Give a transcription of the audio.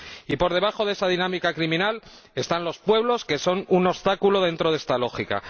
Y por debajo de esa dinámica criminal están los pueblos, que son un obstáculo dentro de esta lógica.